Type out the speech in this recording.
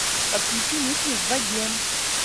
подключи мысли в воде